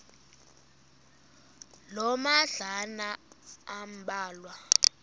loo madlalana ambalwa